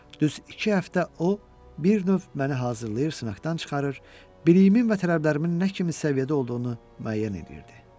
Düz iki həftə o bir növ məni hazırlayır, sınaqdan çıxarır, biliyimin və tələblərimin nə kimi səviyyədə olduğunu müəyyən eləyirdi.